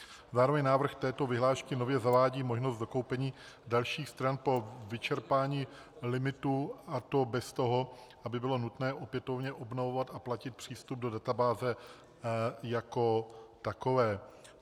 Zároveň návrh této vyhlášky nově zavádí možnost dokoupení dalších stran po vyčerpání limitu, a to bez toho, aby bylo nutné opětovně obnovovat a platit přístup do databáze jako takové.